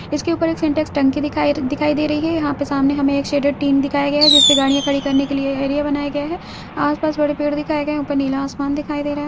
उसके बगल में एक सिंटेक्स टंकी दिखाई दिखाई दे रही है यहां पर सामने एक शेडर तीन दिखया गया है जिसमें गाड़ीया खड़ी करने के लिए एरिया बनाया गया है आस पास में बढ़िया दिख रहा हे ऊपर नीला आसमान भी दिख रहा है।